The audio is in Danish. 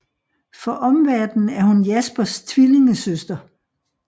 For omverdenen er hun Jaspers tvillingesøster